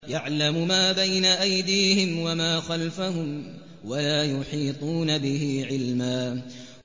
يَعْلَمُ مَا بَيْنَ أَيْدِيهِمْ وَمَا خَلْفَهُمْ وَلَا يُحِيطُونَ بِهِ عِلْمًا